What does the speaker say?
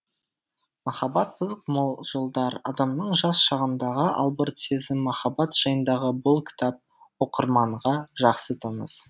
махаббат қызық мол жылдар адамның жас шағындағы албырт сезім махаббат жайындағы бұл кітап оқырманға жақсы таныс